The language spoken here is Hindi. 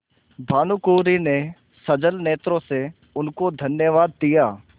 भानुकुँवरि ने सजल नेत्रों से उनको धन्यवाद दिया